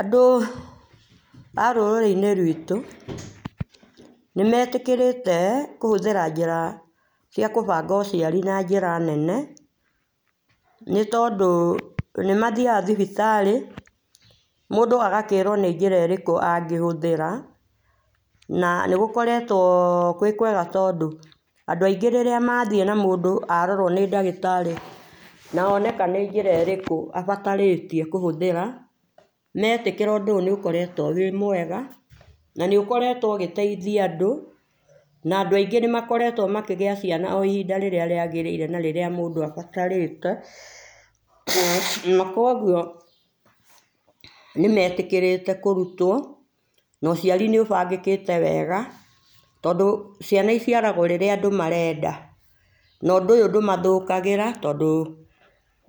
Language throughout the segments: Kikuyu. Andũ a rũrĩrĩ inĩ rwĩtu, nĩmetĩkĩrĩte kũhũthĩra njĩra cia kũbanga ũciarĩ na njĩra nene nĩtondũ nĩmathiaga thibitarĩ mũndũ agakĩrwo nĩ njĩra ĩrĩkũ angĩhũthĩra na nĩgũkoretwo gwĩkwega nĩtondũ andũ aingĩ rĩrĩa mathiĩ na mũndũ arorwo nĩ ndagĩtarĩ na oneka nĩ njĩra ĩrĩkũa abatarĩtie kũhũthĩra na etĩkĩra ũndũ ũyũ nĩ ũkoretwo wĩ mwega na nĩ ũkorwtwo ũgĩteithia andũ na andũ aĩngĩ nĩmakoretwo makĩgĩa ciana ihĩnda rĩrĩa rĩagĩrĩire na rĩrĩa mũndũ abatarĩte na kũogũo nĩmetĩkĩrĩte kũrũtwo na ũciarĩ nĩ ũbangĩkĩte wega tondũ ciana ĩciaragwo rĩrĩa andũ marenda na ũndũ ũyũ ndũmathũkagĩra tondũ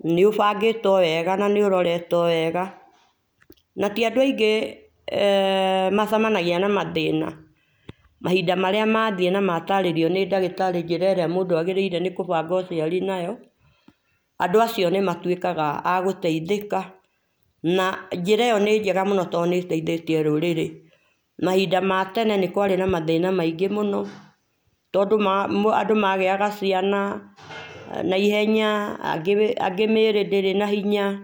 nĩ ũbangĩtwo wega na nĩũroretwo wega na ti andũ aingĩ eeh macemanagia na mathĩna mahinda marĩa mathiĩ na matarĩrio nĩ ndagĩtari njĩra ĩrĩa mũndũ agĩrĩirwo nĩ kũbanga ũciari nayo andũ acio nĩmatwĩkaga a gũteithĩka na njĩra ĩyo nĩ njega mũno to nĩ ĩthĩtie rũrĩrĩ mahinda matene nĩkwarĩ na mathĩna maingĩ mũno tondũ andũ magĩaga ciana na ihenyana na angĩ mĩrĩ ndĩrĩ na hinya .